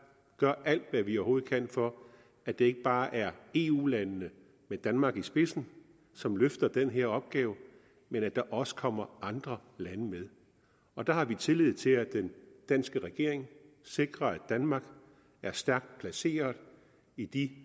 gør alt hvad vi overhovedet kan for at det ikke bare er eu landene med danmark i spidsen som løfter den her opgave men at der også kommer andre lande med og der har vi tillid til at den danske regering sikrer at danmark er stærkt placeret i de